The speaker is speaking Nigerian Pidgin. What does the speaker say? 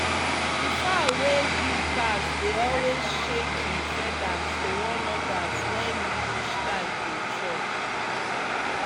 the fowl wey big pass dey always shake him feathers to warn others when e reach time to chop.